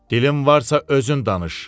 Dilin varsa özün danış.